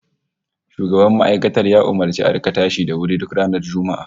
Shugaban makarantar ya umurci a rika tashi da wuri duk ranar Juma'a